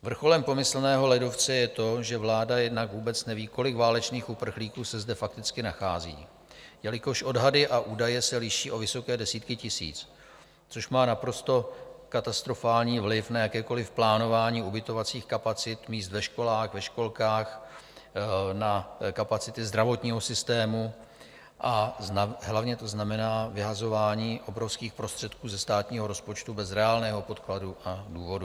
Vrcholem pomyslného ledovce je to, že vláda jednak vůbec neví, kolik válečných uprchlíků se zde fakticky nachází, jelikož odhady a údaje se liší o vysoké desítky tisíc, což má naprosto katastrofální vliv na jakékoliv plánování ubytovacích kapacit, míst ve školách, ve školkách, na kapacity zdravotního systému a hlavně to znamená vyhazování obrovských prostředků ze státního rozpočtu bez reálného podkladu a důvodů.